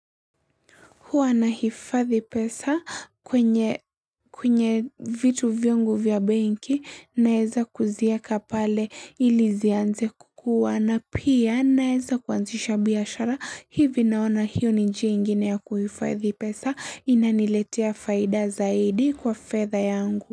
Huwa na hifadhi pesa kwenye kwenye vitu viongu vya banki naeza kuzieka pale ili zianze kukuwa na pia naeza kuanzisha biashara hivi naona hiyo nji ingine ya kuhifadhi pesa inaniletea faida zaidi kwa fedha yangu.